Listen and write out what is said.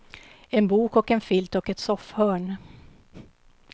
En bok och en filt och ett soffhörn.